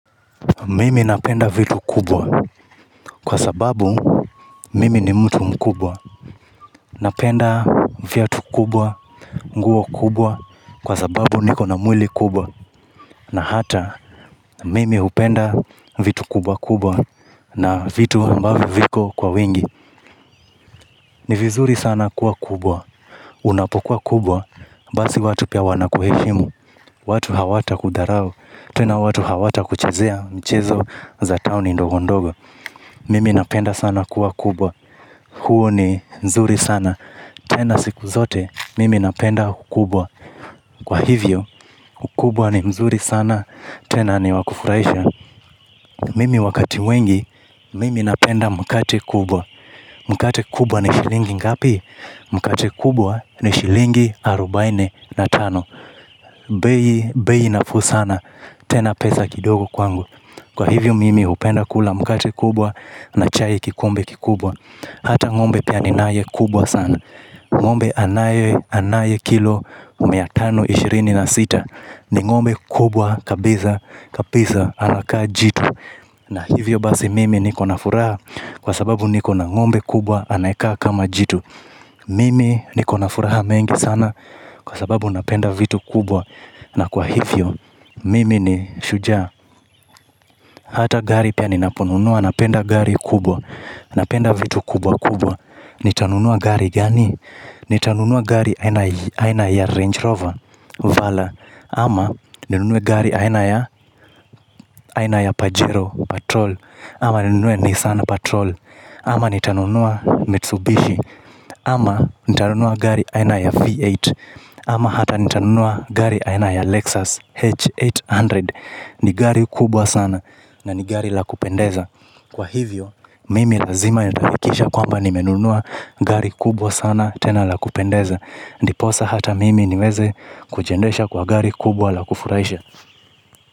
Mimi napenda vitu kubwa. Kwa sababu mimi ni mtu mkubwa. Napenda viatu kubwa, nguo kubwa. Kwa sababu niko na mwili kubwa. Na hata, mimi hupenda vitu kubwa kubwa. Na vitu ambavyo viko kwa wingi. Ni vizuri sana kuwa kubwa. Unapokuwa kubwa, basi watu pia wanakuheshimu. Watu hawata kudharau. Tena watu hawata kuchezea mchezo za taoni ndogondogo Mimi napenda sana kuwa kubwa. Huu ni mzuri sana. Tena siku zote Mimi napenda ukubwa. Kwa hivyo ukubwa ni mzuri sana. Tena ni wakufuraisha Mimi wakati wengi Mimi napenda mkate kubwa. Mkate kubwa ni shilingi ngapi? Mkate kubwa ni shilingi arubaini na tano bei bei nafuu sana tena pesa kidogo kwangukwa hivyo mimi hupenda kula mkate kubwa na chai kikombe kikubwa hata ng'ombe ninaye kubwa sana ng'ombe anaye kilo mia tano, ishirini na sita ni ng'ombe kubwa kabisa anakaa jitu. Na hivyo basi mimi niko na furaha. Kwa sababu niko na ng'ombe kubwa, anayekaa kama jitu mimi niko na furaha mengi sana kwa sababu napenda vitu kubwa na kwa hivyo mimi ni shujaa. Hata gari pia ninaponunua, napenda gari kubwa. Napenda vitu kubwa kubwa. Nitanunua gari gani? Nitanunua gari aina ya Range Rover Vala. Ama nitanunua gari aina ya Pajero Patrol. Ama ninunue Nissan Patrol. Ama nitanunua Mitsubishi. Ama nitanunua gari aina ya V8. Ama hata nitanunua gari aina ya Lexus H800. Ni gari kubwa sana na ni gari la kupendeza. Kwa hivyo, mimi lazima nitaakikisha kwamba nimenunua gari kubwa sana tena la kupendeza. Ndiposa hata mimi niweze kujiendesha kwa gari kubwa la kufuraisha.